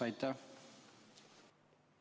Aitäh!